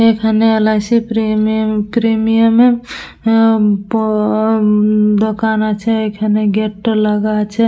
এখানে LIC. Premium premium -এর উম প-অ-অ উম দোকান আছে এখানে গেট -টা লাগা আছে।